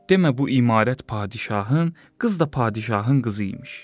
Demə bu imarət padşahın, qız da padşahın qızı imiş.